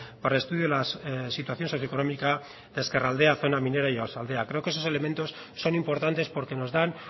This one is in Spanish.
para el estudio de la situación socioeconómica de ezkerraldea zona minera y oarsoaldea creo que esos elementos son importantes porque nos dan